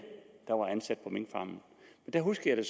der var ansat på minkfarmene og der husker jeg